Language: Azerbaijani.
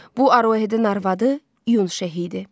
Bu Arohenin arvadı İyun Şehi idi.